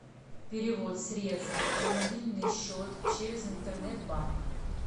перевод средств на мобильный счет через интернет банк